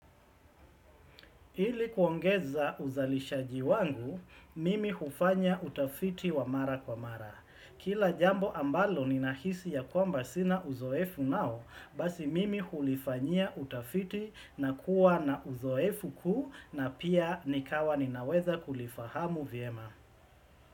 Ili kuongeza uzalishaji wangu, mimi hufanya utafiti wa mara kwa mara. Kila jambo ambalo ninahisi ya kwamba sina uzoefu nao, basi mimi hulifanyia utafiti na kuwa na uzoefu kuu na pia nikawa ninaweza kulifahamu vyema.